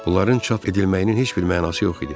Bunların çap edilməyinin heç bir mənası yox idi.